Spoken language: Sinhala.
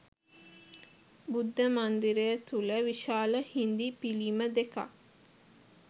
බුද්ධ මන්දිරය තුළ විශාල හිඳි පිළිම දෙකක්